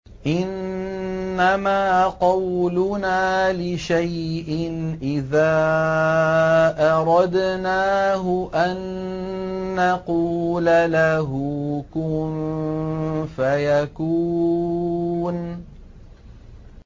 إِنَّمَا قَوْلُنَا لِشَيْءٍ إِذَا أَرَدْنَاهُ أَن نَّقُولَ لَهُ كُن فَيَكُونُ